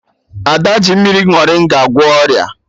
Ada ji mmiri morịnga gwọọ ọrịa